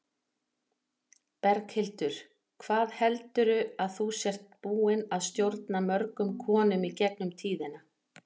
Berghildur: Hvað heldurðu að þú sért búin að stjórna mörgum konum í gegnum tíðina?